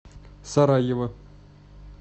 сараево